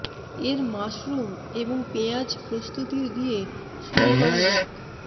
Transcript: এর মাশরুম এবং পেঁয়াজ প্রস্তুতির দিয়ে শুরু করা যাক